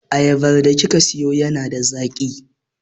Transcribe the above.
Ayabar da kika sayo yana da zaƙi.